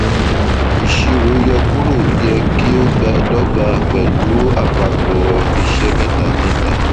ìṣirò yọkúrò yẹ kí ó dọgba pẹlú àpapọ iṣẹ mẹta mẹta